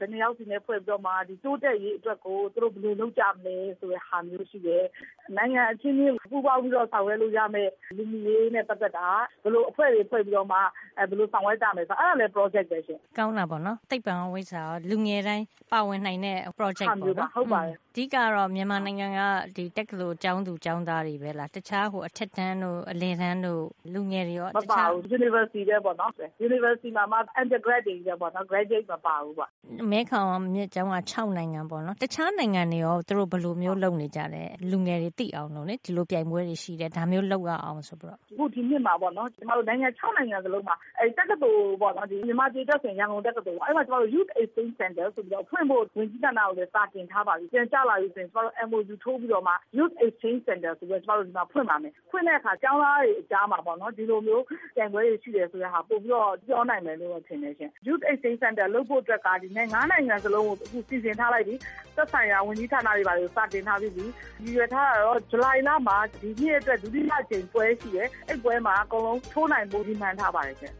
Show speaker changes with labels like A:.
A: နှစ်ယောက်စီနဲ့ ဖွဲ့စည်းပြီးတော့မှာ တိုးတက်ရေးအတွက်ကို သူတို့ ဘယ်လို လုပ်ကြမလဲ။ ဆိုတဲ့ ဟာမျိုးရှိတယ်။ နိုင်ငံ အချင်းချင်း ပူးပေါင်းပြီးတော့ ဆောင်ရွက်လို့ရမယ့်၊ လူမှုရေးနဲ့ ပတ်သက်တာ။ ဘယ်လို အဖွဲ့တွေဖွဲ့ပြီးတော့မှ ဘယ်လိုဆောင်ရွက်ကြမယ် ဆိုတာ အဲဒါလည်း ပရောဂျက်ပဲပေါ့။
B: သိပ္ပံရော ဝိဇ္ဖာရော လူငယ်တွေ အကုန်လုံး ပါဝင်နိုင်တဲ့ ပရောဂျက်တွေ ပေါ့နော်။ အဓိကက မြန်မာနိုင်ငံက တက္ကသိုလ် ကျောင်းသူ ကျောင်းသားတွေ ပဲလား၊ အထက်တန်းတို့၊ အလယ်တန်းတို့က လူငယ်တွေရော။
A: မပါဘူး။ တက္ကသိုလ်တွေကပဲပေါ့နော်။ အဲဒီမှာမှ undergrad ဘွဲ့ရဖို့ တက်နေသူတွေပဲ။ graduate ဘွဲရပြီးသား မပါဘူးပေါ့။
B: မဲခေါင်းမြစ်ကြောင်း ၆ နိုင်ငံရှိတဲ့ထဲက တခြားနိုင်ငံတွေမှာ ဒီပြိုင်ပွဲကို လူငယ်တွေ သိအောင် ဘယ်လိုပုံစံမျိုး လုပ်ပေးကြပါသလဲ။ ဒီလိုပြိုင်ပွဲတွေ ရှိတယ်။ ဒါမျိုးလုပ်ရတယ် ဆိုတာသိအောင်။
A: အခု ဒီနှစ်မှာ နိုင်ငံ ၆ နိုင်ငံ စလုံးက တက္ကသိုလ်တွေ ဥပမာ မြန်မာပြည် အတွက်ဆို ရန်ကုန်တက္ကသိုလ်ပေါ့။ အဲဒီမှာ ကျမတို့ youth exchange center ဆိုပြီး ဖွင့်ဖို့ စာတင်ထားပါပြီ။ ပြန်ကျလာပြီ ဆိုရင် ကျမတို့ MOU နားလည်မှုစာချွန်လွှာ ထိုးပြီးတော့ youth exchange center ဆိုပြီးတော့ ကျမတို့ ဒီမှာ ဖွင့်ပါမယ်။ အဲဒီလို ဖွင့်တဲ့အခါ ကျောင်းသားတွေ အကြားမှာ ဒီလိုမျိုး ပြိုင်ပွဲတွေ ရှိတယ် ဆိုတာကို ပိုပြီးတော့ ပြောနိုင်မယ်လို့ ထင်တယ်ရှင့်။ youth exchange center လုပ်ဖို့အတွက်က ဒီနှစ် ၅ နိုင်ငံ စလုံးကို စီစဉ် ထားလိုက်ပြီ။ သက်ဆိုင်ရာ ဝန်ကြီးဌာနတွေ ဘာတွေ စာတင်ထား ပြီးပြီ။ ရည်ရွယ်ထားတာတော့ ဇူလိုင်လမှာ ဒုတိယအကြိမ် ပွဲရှိတယ်။ အဲဒီပွဲမှာ လက်မှတ်ထိုးနိုင်ဖို့ ရည်မှန်းထားပါတယ်ရှင့်